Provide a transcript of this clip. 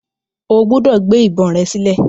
O gbúdọ̀ gbé ìbọn rẹ sílẹ̀.